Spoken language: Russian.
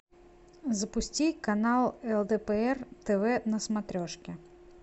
запусти канал лдпр тв на смотрешке